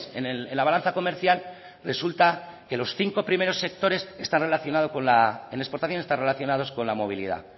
en la balanza comercial resulta que los cinco primeros sectores en exportación están relacionados con la movilidad